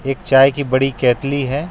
एक चाय की बड़ी केतली है.